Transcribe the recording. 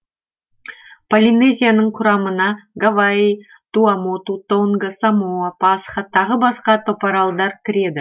полинезияның құрамына гавайи туамоту тонга самоа пасха тағы басқа топаралдар кіреді